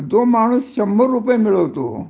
जो माणूस शंभर रुपये मिळवतो